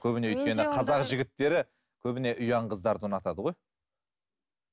қазақ жігіттері көбіне ұяң қыздарды ұнатады ғой